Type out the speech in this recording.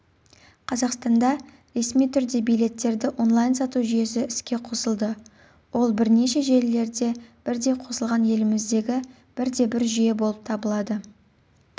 қазақстанда ресми түрде билеттерді онлайн-сату жүйесі іске қосылды ол бірнеше желілерде бірдей қосылған еліміздегі бірде-бір жүйе болып келеді